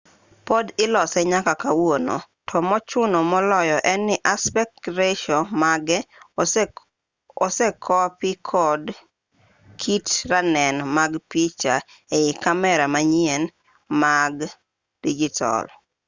pod ilose nyaka kawuono to mochuno moloyo en ni aspect ratio mage osekopi kod kit ranen mag picha ei kamera manyien mag dijitol